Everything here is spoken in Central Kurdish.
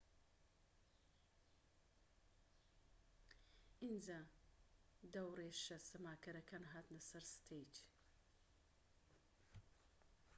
ئینجا دەورێشە سەماکەرەکان هاتنە سەر ستەیج